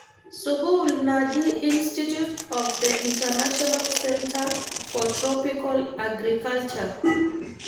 sukuul naji Institute of the International Centre for Tropical Agriculture